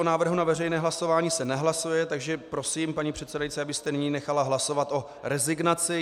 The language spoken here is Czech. O návrhu na veřejné hlasování se nehlasuje, takže prosím, paní předsedající, abyste nyní nechala hlasovat o rezignaci.